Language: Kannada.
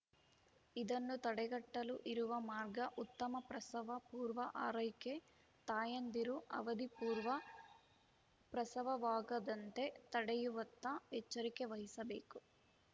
ಇದನ್ನು ತಡೆಗಟ್ಟಲು ಇರುವ ಮಾರ್ಗ ಉತ್ತಮ ಪ್ರಸವ ಪೂರ್ವ ಆರೈಕೆ ತಾಯಂದಿರು ಅವಧಿಪೂರ್ವ ಪ್ರಸವವಾಗದಂತೆ ತಡೆಯುವತ್ತ ಎಚ್ಚರಿಕೆ ವಹಿಸಬೇಕು